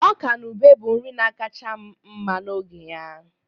Ọka na ube bụ nri na akacha m mma n'oge ya